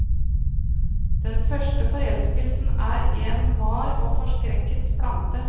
Den første forelskelsen er en var og forskrekket plante.